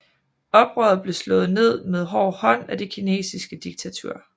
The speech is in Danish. Oprøret blev slået ned med hård hånd af det kinesiske diktatur